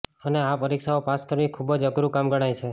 અને આ પરીક્ષાઓ પાસ કરવી ખુબ જ અઘરું કામ ગણાય છે